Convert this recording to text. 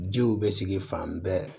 Jiw bɛ sigi fan bɛɛ